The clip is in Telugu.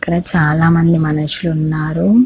ఇక్కడ చాలా మంది మనుసులు ఉన్నారు.